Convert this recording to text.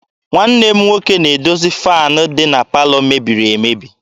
Nwanne m nwoke na-edozi faanị dị na palọ mebiri emebi.